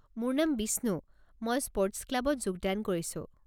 মোৰ নাম বিষ্ণু, মই স্পৰ্টছ ক্লাবত যোগদান কৰিছো।